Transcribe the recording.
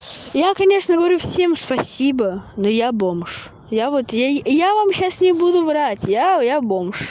я конечно говорю всем спасибо но я бомж я вот ей я вам сейчас не буду врать я я бомж